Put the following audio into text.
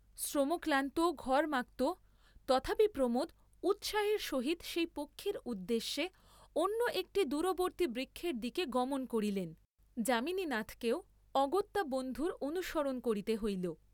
শ্রমক্লান্ত, ঘর্ম্মাক্ত, তথাপি প্রমোদ উৎসাহের সহিত সেই পক্ষীর উদ্দেশে অন্য একটি দূববর্ত্তী বৃক্ষের দিকে গমন করিলেন; যামিনীনাথকেও অগত্যা বন্ধুর অনুসরণ করিতে হইল।